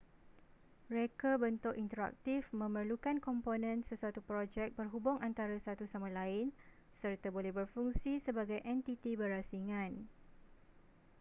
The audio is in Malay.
reka bentuk interaktif memerlukan komponen sesuatu projek berhubung antara satu sama lain serta boleh berfungsi sebagai entiti berasingan